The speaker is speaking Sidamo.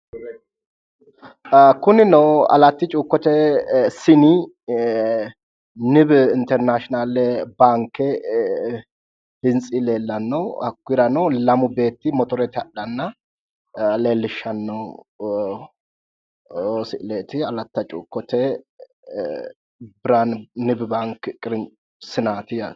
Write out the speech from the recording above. Kunino alatti cuukkote sini nibi internaashinaale baanke hintsi leellanno. Hakkuyirano lamu beetti motorete hadhanna leellishshanno misileeti. Alatta cuukkote nibi baanki sinaati yaate.